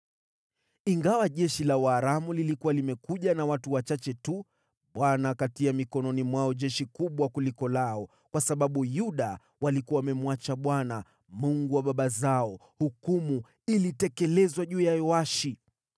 Ingawa jeshi la Waaramu lilikuwa limekuja na watu wachache tu, Bwana akatia mikononi mwao jeshi kubwa kuliko lao. Kwa sababu Yuda walikuwa wamemwacha Bwana , Mungu wa baba zao, hukumu ilitekelezwa juu ya Yoashi.